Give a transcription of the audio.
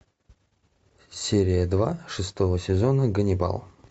серия два шестого сезона ганнибал